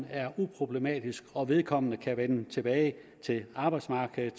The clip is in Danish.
er uproblematisk og hvor vedkommende kan vende tilbage til arbejdsmarkedet